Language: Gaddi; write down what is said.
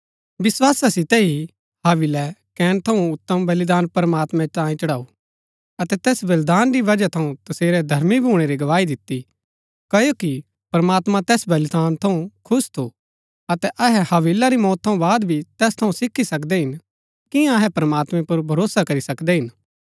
विस्‍वासा सितै ही हाबिलै कैन थऊँ उतम बलिदान प्रमात्मैं तांये चढ़ाऊ अतै तैस बलिदान री बजहा थऊँ तसेरै धर्मी भूणै री गवाई दिती क्ओकि प्रमात्मां तैस बलिदान थऊँ खुश थू अतै अहै हाबिल री मौत थऊँ बाद भी तैस थऊँ सीखी सकदै हिन कियां अहै प्रमात्मैं पुर भरोसा करी सकदै हिन